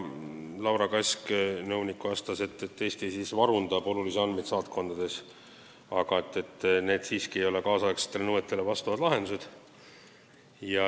Laura Kask, nõunik, vastas, et Eesti varundab olulisi andmeid saatkondades, aga need ei ole siiski tänapäevastele nõuetele vastavad lahendused.